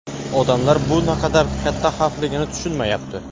"Odamlar bu naqadar katta xavfligini tushunmayapti".